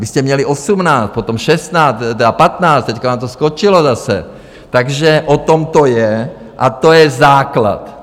Vy jste měli 18, potom 16, tedy 15, teď vám to skočilo zase, takže o tom to je a to je základ.